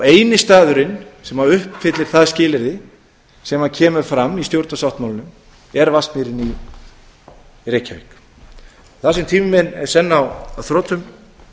eini staðurinn sem uppfyllir það skilyrði sem kemur fram í stjórnarsáttmálanum er vatnsmýrin í reykjavík þar sem tími minn er senn á þrotum